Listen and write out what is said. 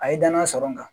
A ye danaya sɔrɔ n kan